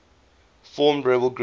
formed rebel group